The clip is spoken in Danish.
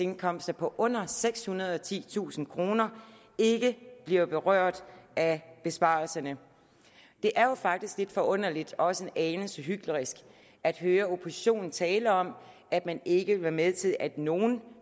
indkomster på under sekshundrede og titusind kroner ikke bliver berørt af besparelserne det er jo faktisk lidt forunderligt og også en anelse hyklerisk at høre oppositionen tale om at man ikke vil være med til at nogle